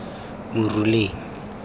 moruleng